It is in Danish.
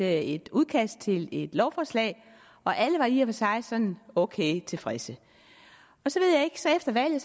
et udkast til et lovforslag og alle var i og for sig sådan ok tilfredse efter valget